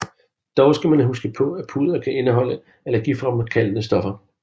Dog skal man huske på at pudder kan indeholde allergifremkaldende stoffer